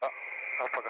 Hə, paqa.